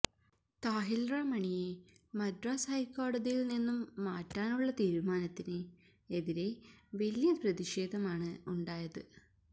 താഹില്രമണിയെ മദ്രാസ് ഹൈക്കോടതിയില് നിന്നും മാറ്റാനുള്ള തീരുമാനത്തിന് എതിരേ വലിയ പ്രതിഷേധമാണ് ഉണ്ടായത്്